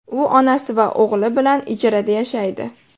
U onasi va o‘g‘li bilan ijarada yashaydi.